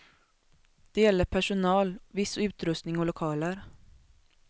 Det gäller personal, viss utrustning och lokaler.